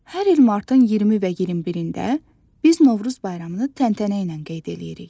Hər il martın 20 və 21-də biz Novruz bayramını təntənə ilə qeyd edirik.